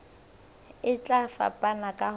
e tla fapana ka ho